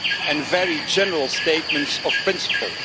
and very general statements of principle.